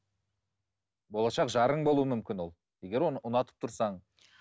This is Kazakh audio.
болашақ жарың болу мүмкін ол егер оны ұнатып тұрсаң